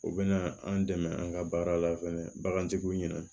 O bɛna an dɛmɛ an ka baara la fɛnɛ bagantigiw ɲina